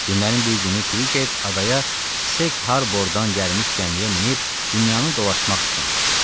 Günlərin bir günü Kk adaya Seg Harbordan gəlmiş gəmiyə minib dünyanı dolaşmaq fikrinə düşür.